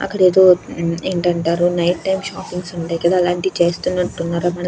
ఏంటంటారు night time shoppings ఉంటాయి కదా అలాంటివి చేస్తున్నట్టు ఉన్నారు. --